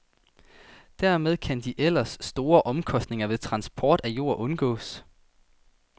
Dermed kan de ellers store omkostninger ved transport af jord undgås.